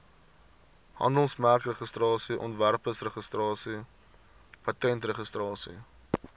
handelsmerkregistrasie ontwerpregistrasie patentregistrasie